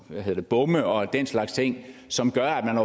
bomme og den slags ting som gør at man